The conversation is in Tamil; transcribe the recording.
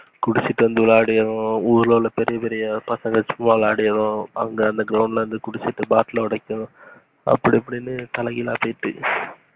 குடிச்சிட்டு வந்து விளைடுனா ஊருல உள்ள பெரிய பசங்க சும்மா விளையாடியும் அங்கஅந்த ground ல குடிச்சிட்டு bottle ஓடைக்குறதுக்கும் அப்டி இப்டினு தலை கீழ போய்ட்டு.